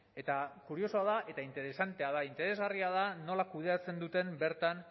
eta kuriosoa da eta interesantea da interesgarria da nola kudeatzen duten bertan